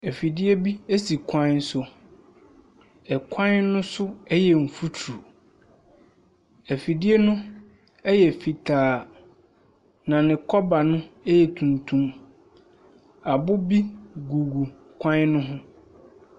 Afidie bi esi kwan so. Ɛkwan no so ɛyɛ mfuturo. Afidie no ɛyɛ fitaa. Na ne kɔba no ɛyɛ tuntum. Abo bi gugu kwan no ho.